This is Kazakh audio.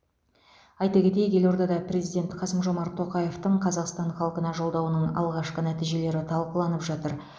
айта кетейік елордада президент қасым жомарт тоқаевтың қазақстан халқына жолдауының алғашқы нәтижелері талқыланып жатыр